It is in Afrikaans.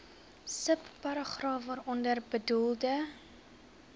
subparagraaf waaronder bedoelde